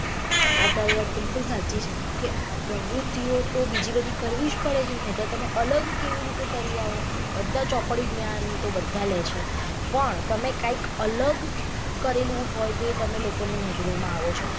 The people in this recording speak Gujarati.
હા તારી વાત બિલકુલ સાચી છે કે પ્રવૃતિઓ તો બીજી બધી કરવી જ પડે છે નીતો તમે અલગ કેવી રીતે તરી આઓ જો બધા ચોપડી જ્ઞાન તો બધા લે છે પણ તમે કાંઈક અલગ કરેલું હોય તે તમે લોકો ની નજરો માં આઓ છો.